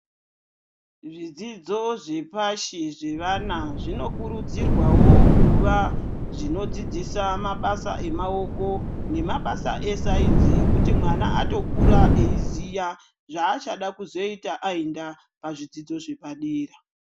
Zvidzidzo zvepashi zvevana zvinokurudzirwawo kuva zvino dzidzisa mabasa emaoko nemabasa esayinzi ekuti mwana atokura eiziya zvachada kuzoita ayenda pazvidzidzo zvepadera